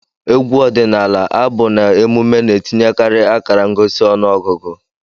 Egwu ọdịnala, abụ, na emume na-etinyekarị akara ngosi ọnụọgụgụ.